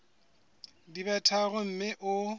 di be tharo mme o